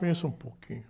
Conheço um pouquinho.